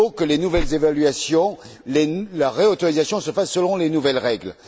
Il faut que les nouvelles évaluations, la réautorisation, se fassent selon les nouvelles règles.